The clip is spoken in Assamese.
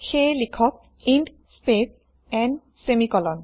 সেয়ে লিখক ইণ্ট স্পেস n সেমিকোলন